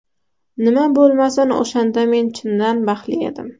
Nima bo‘lmasin, o‘shanda men chindan baxtli edim.